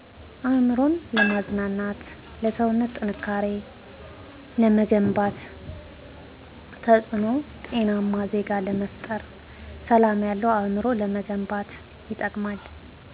አእምሮ ለማዝናናት ለሰዉነት ጥንካሬ ለመገንባት ተፅእኖዉ ጤናማ ዜጋ ለመፍጠር ሰላም ያለዉ አእምሮ ለመገንባት ይጠቅማል